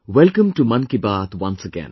Welcome to 'Mann Ki Baat' once again